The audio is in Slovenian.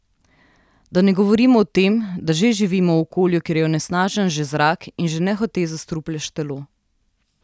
Da ne govorimo o tem, da že živimo v okolju, kjer je onesnažen že zrak in že nehote zastrupljaš telo.